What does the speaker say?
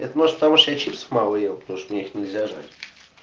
это может потому что я чипсов мало ел потому что их мне нельзя жрать